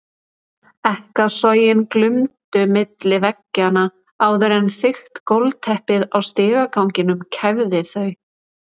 Ekkasogin glumdu milli veggjanna áður en þykkt gólfteppið á stigaganginum kæfði þau.